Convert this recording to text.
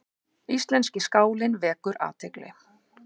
Íslenski skálinn vekur athygli